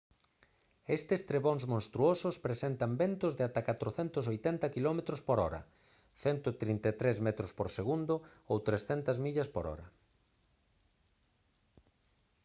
estes trebóns monstruosos presentan ventos de ata 480 km/h 133 m/s; 300 mph